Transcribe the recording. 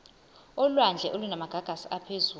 olwandle olunamagagasi aphezulu